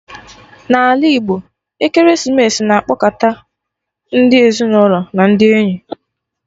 N'ala Igbo, ekeresimesi na-akpọkọta ndi ezinụlọ na ndị enyi